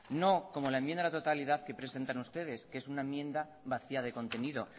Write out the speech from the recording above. no como la enmienda de totalidad que presentan ustedes que es una enmienda vacía de contenido